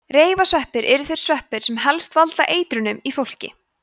reifasveppir eru þeir sveppir sem helst valda eitrunum í fólki